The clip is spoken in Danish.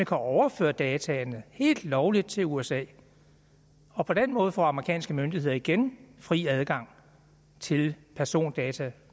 kan overføre dataene helt lovligt til usa og på den måde får amerikanske myndigheder igen fri adgang til persondata